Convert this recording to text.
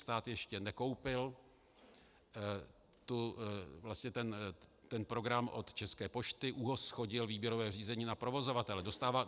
Stát ještě nekoupil ten program od České pošty, ÚOHS shodil výběrové řízení na provozovatele.